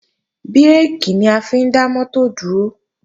Bírèkì ni a fi ń dá mọ́tò dúró